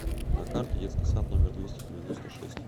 на карте детский сад номер двести девяносто шесть